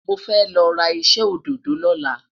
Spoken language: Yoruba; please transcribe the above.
mọ fẹ lọra iṣẹ ododo loola